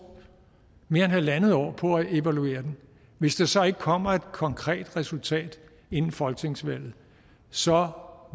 mere end halvandet år på at evaluere den hvis der så ikke kommer et konkret resultat inden folketingsvalget så